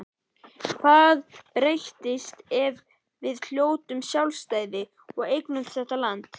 Hvað breytist ef við hljótum sjálfstæði og eignumst þetta land.